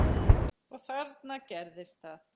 Og þarna gerðist það.